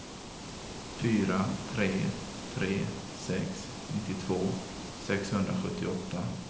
fyra tre tre sex nittiotvå sexhundrasjuttioåtta